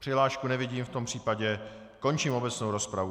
Přihlášku nevidím, v tom případě končím obecnou rozpravu.